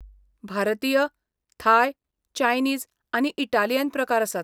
भारतीय, Thai, Chinese आनी Italian प्रकार आसात.